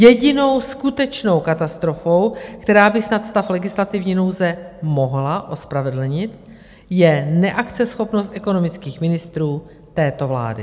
Jedinou skutečnou katastrofou, která by snad stav legislativní nouze mohla ospravedlnit, je neakceschopnost ekonomických ministrů této vlády.